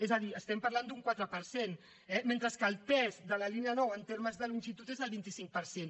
és a dir estem parlant d’un quatre per cent eh mentre que el pes de la línia nou en termes de longitud és del vint cinc per cent